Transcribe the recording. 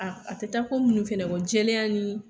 A a tɛ taa ko minnu fɛnɛ kɔ jɛlenya ni